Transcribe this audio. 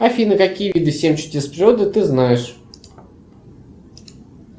афина какие виды семь чудес природы ты знаешь